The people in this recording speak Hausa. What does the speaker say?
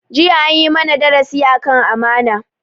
Jiya an yi mana darasi akan amana